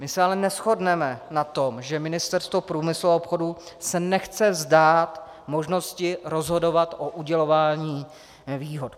My se ale neshodneme na tom, že Ministerstvo průmyslu a obchodu se nechce vzdát možnosti rozhodovat o udělování výhod.